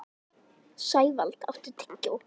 Sævald, áttu tyggjó?